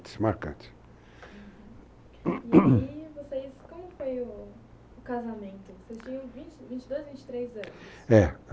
Marcantes, uhum, e aí vocês, como foi o o casamento? vocês tinham 22, 23 anos, é,